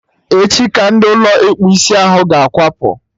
Echi ka ndị Ụlọ ịkpụ isiahụ ga-akwapụ